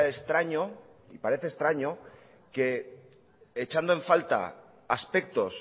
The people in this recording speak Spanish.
extraño y parece extraño que echando en falta aspectos